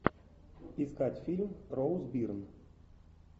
искать фильм роуз бирн